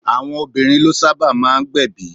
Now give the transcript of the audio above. Àwọn obìnrin ló sábà máa gbẹ̀bi.